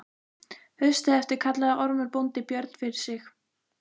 Haustið eftir kallaði Ormur bóndi Björn fyrir sig.